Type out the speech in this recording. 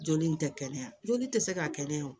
Joli in tɛ kɛnɛya joli tɛ se ka kɛnɛya o